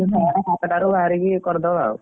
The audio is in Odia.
ଛଅ ଟା ସାତଟା ରୁ ବାହାରିକି କରିଦବା ଆଉ।